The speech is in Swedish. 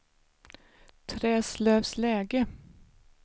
Träslövsläge